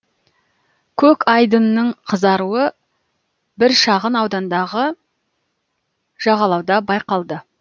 көк айдынның қызаруы бір шағын аудандағы жағалауда байқалды